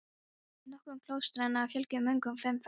Í nokkrum klaustranna fjölgaði munkum fimmfalt.